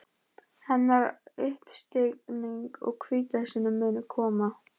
Hennar uppstigning og hvítasunna munu koma.